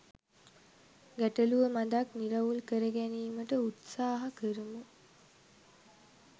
ගැටලුව මදක් නිරවුල් කරගැනීමට උත්සාහ කරමු